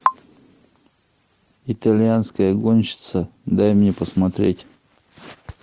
итальянская гонщица дай мне посмотреть